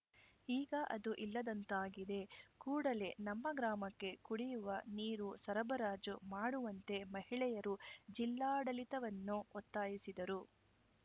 ಈಗ ಅದು ಇಲ್ಲದಂತಾಗಿದೆ ಕೂಡಲೆ ನಮ್ಮ ಗ್ರಾಮಕ್ಕೆ ಕುಡಿಯುವ ನೀರು ಸರಬರಾಜು ಮಾಡುವಂತೆ ಮಹಿಳೆಯರು ಜಿಲ್ಲಾಡಳಿತವನ್ನು ಒತ್ತಾಯಿಸಿದರು